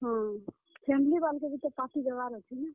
ହଁ, family ବାଲେ କୁ ବି ତ party ଦେବାର୍ ଅଛେ ନାଁ।